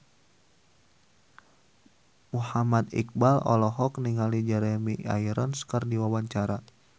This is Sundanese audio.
Muhammad Iqbal olohok ningali Jeremy Irons keur diwawancara